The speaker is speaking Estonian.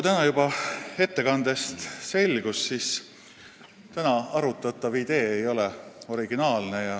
Nagu juba ettekandest selgus, ei ole täna arutatav idee originaalne.